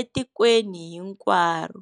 etikweni hinkwaro.